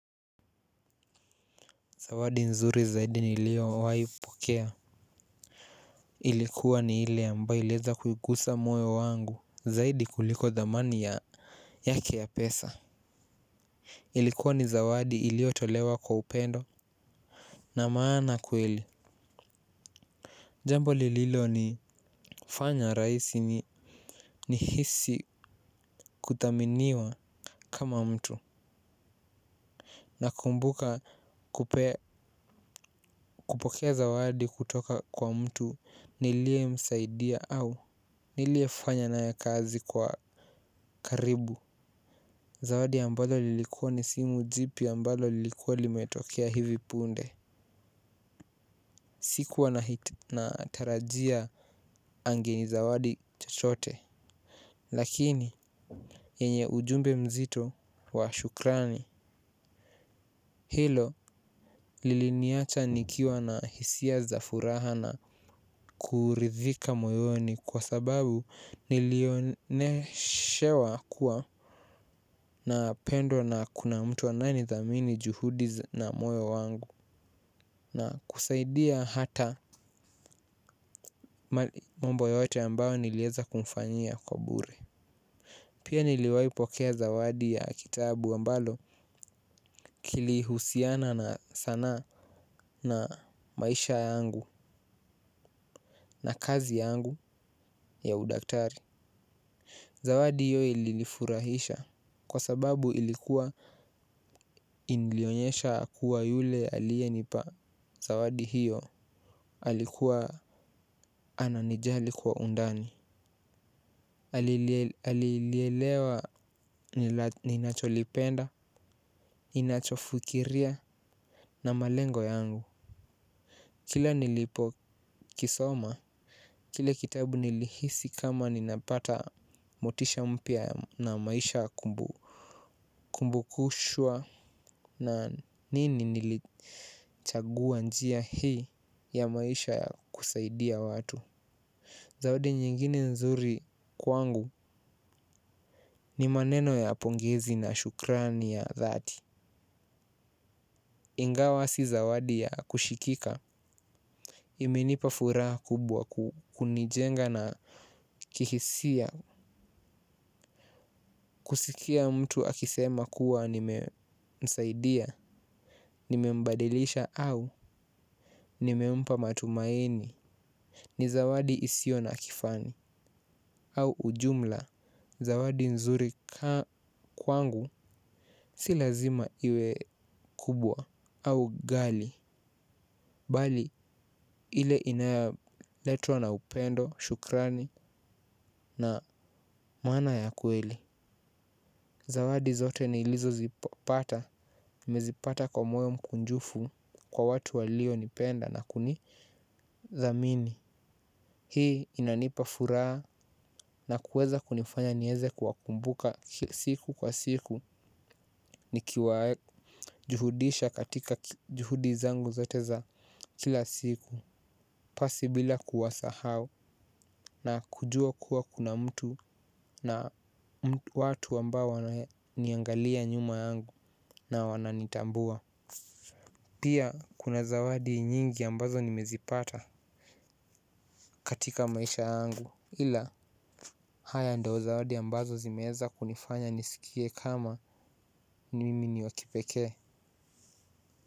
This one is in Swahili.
Zawadi nzuri zaidi niliyowahi kupokea. Ilikuwa ni ile ambayo iliweza kuiguza moyo wangu zaidi kuliko dhamani ya yake ya pesa. Ilikuwa ni zawadi iliyotolewa kwa upendo. Na maana kweli jambo lililonifanya rahisi ni nihisi kuthaminiwa kama mtu. Nakumbuka kupokea zawadi kutoka kwa mtu niliye msaidia au niliyefanya naye kazi kwa karibu zawadi ambayo ilikuwa ni simu jipya ambayo ilikuwa imetokea hivi punde. Sikuwa na natarajia angeni zawadi chochote. Lakini yenye ujumbe mzito wa shukrani. Hilo liliniacha nikiwa na hisia za furaha na kuridhika moyoni kwa sababu nilioneshewa kuwa na pendo na kuna mtu anaye nithamini juhudi na moyo wangu. Na kusaidia hata mambo yote ambayo niliweza kumfanyia kwa bure. Pia niliwaipokea zawadi ya kitabu ambalo kilihusiana na sanaa na maisha yangu na kazi yangu ya udaktari. Zawadi hiyo ilinifurahisha kwa sababu ilikuwa ilionyesha kuwa yule aliyenipa zawadi hiyo alikuwa ananijali kwa undani alilielewa ninachokipenda ninachofikiria na lengo langu. Kila nilipo kisoma, kile kitabu nilihisi kama ninapata motisha mpya na maisha. Kumbukushwa na nini nilichagua njia hii ya maisha ya kusaidia watu. Zawadi nyingine nzuri kwangu ni maneno ya pongezi na shukrani ya dhati. Ingawa si zawadi ya kushikika imenipa furaha kubwa kunijenga na kihisia. Kusikia mtu akisema kuwa nimemsaidia, nimembadilisha au nimempa matumaini. Ni zawadi isiyo na kifani au ujumla, zawadi nzuri kwangu si lazima iwe kubwa au gali. Bali ile inayoletwa na upendo, shukrani na maana ya kweli. Zawadi zote nilizozipata, nimezipata kwa moyo mkunjufu kwa watu walionipenda na kuni thamini. Hii inanipa furaha na kuweza kunifanya niweze kuwakumbuka siku kwa siku nikiwajuhudisha katika juhudi zangu zote za kila siku pasi bila kuwasahau na kujua kuwa kuna mtu na watu wanao niangalia nyuma yangu na wananitambua. Pia kuna zawadi nyingi ambazo nimezipata katika maisha yangu ila haya ndio zawadi ambazo zimeweza kunifanya nisikie kama mimi niwakipekee.